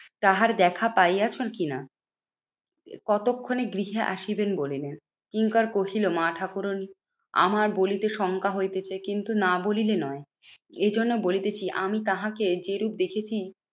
তাহার দেখা পাইয়াছো কি না? কতক্ষনে গৃহে আসিবেন বলিলেন? কিঙ্কর কহিলো মা ঠাকুরন আমার বলিতে শঙ্কা হইতেছে কিন্তু না বলিলে নয়। এইজন্য বলিতেছি আমি তাহাকে যেরূপ দেখেছি